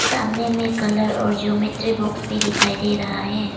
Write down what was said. सामने में कलर और जोमेट्री बॉक्स भी दिखाई दे रहा है।